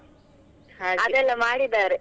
ಮಾಡಿದ್ದಾರೆ.